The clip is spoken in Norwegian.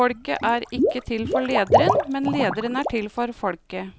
Folket er ikke til for lederen, men lederen er til for folket.